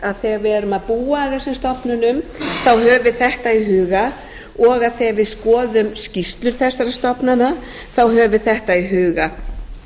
þegar við erum að búa að þessum stofnunum höfum við þetta í huga og að þegar við skoðum skýrslur þessara stofnana höfum við þetta í huga